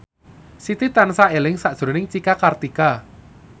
Siti tansah eling sakjroning Cika Kartika